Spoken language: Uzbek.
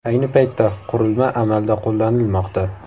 Ayni paytda qurilma amalda qo‘llanilmoqda.